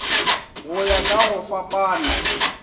go ya ka go fapana